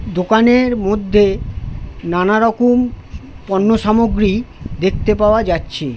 দোকানের মধ্যে নানারকম পণ্য সামগ্রী দেখতে পাওয়া যাচ্ছে ।